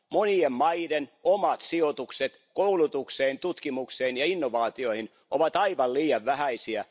Monien maiden omat sijoitukset koulutukseen, tutkimukseen ja innovaatioihin ovat aivan liian vähäisiä.